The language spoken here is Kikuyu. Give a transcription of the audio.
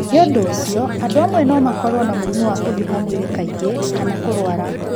Nĩ ũndũ ũcio, andũ amwe no makorũo na mũrimũ wa kũhiũha mwĩrĩ kaingĩ kana kũrũara.